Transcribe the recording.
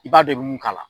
I b'a dɔn i be mun k'a la